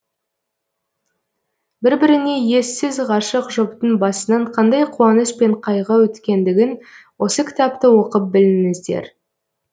бір біріне ессіз ғашық жұптың басынан қандай қуаныш пен қайғы өткендігін осы кітапты оқып біліңіздер